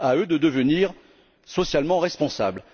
À eux de devenir socialement responsables.